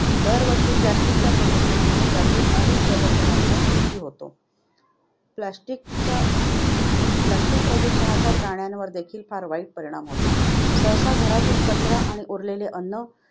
दरवर्षी plastic च्या प्रदूषणामुळे यातील अनेक जलचरांचा मृत्यू होतो. plastic च्या plastic प्रदूषणाचा प्राण्यांवर देखील वाईट परिणाम होतो. सहसा, घरातील कचरा किंवा उरलेले अन्न